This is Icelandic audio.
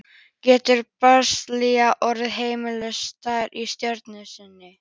Getur Brasilía orðið Heimsmeistari í sjötta sinn?